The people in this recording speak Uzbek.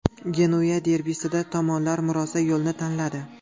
Genuya derbisida tomonlar murosa yo‘lini tanladi.